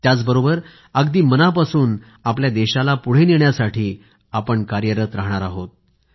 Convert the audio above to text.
त्याचबरोबर अगदी मनापासून आपल्या देशाला पुढे नेण्यासाठी आपण कार्यरत राहणार आहोत